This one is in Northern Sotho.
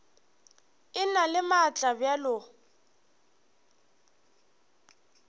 e na le maatla bjalo